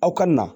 Aw ka na